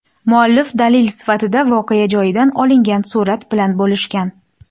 Muallif dalil sifatida voqea joyidan olingan surat bilan bo‘lishgan.